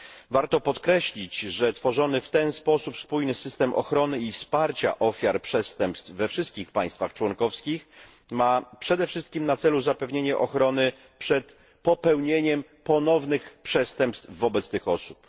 Warto podkreślić, że tworzony w ten sposób spójny system ochrony i wsparcia ofiar przestępstw we wszystkich państwach członkowskich ma przede wszystkim na celu zapewnienie ochrony przed popełnieniem ponownych przestępstw wobec tych osób.